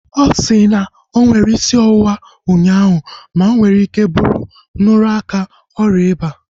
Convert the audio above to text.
Ọ si na onwere isi ọwụwa ụnyaahụ ma onwere ike ịbụ nrụrụ aka oria ịba